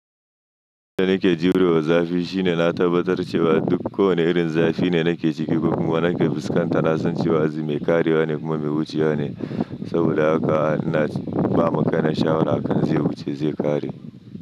Da nike jurewa da zafi shine na tabbatar cewa duk kowane irin zafi ne nike ciki kuma wanake fuskanta. Na san cewa me karye wa ne kuma me wucewa ne, saboda haka naci bamin ka na sha'awan hakan zai wuce zai ƙare.